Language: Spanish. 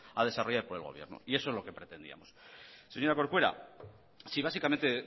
a desarrollar por el gobierno y eso es lo que pretendíamos señora corcuera si básicamente